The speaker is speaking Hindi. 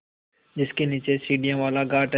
जिसके नीचे सीढ़ियों वाला घाट है